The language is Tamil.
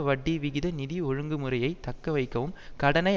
வட்டிவிகித நிதி ஒழுங்குமுறையை தக்க வைக்கவும் கடனை